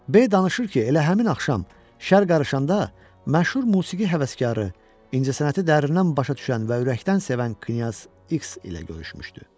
B danışır ki, elə həmin axşam şəhər qarışanda məşhur musiqi həvəskarı, incəsənəti dərindən başa düşən və ürəkdən sevən knyaz X ilə görüşmüşdü.